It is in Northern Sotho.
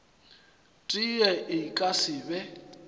tee e ka se be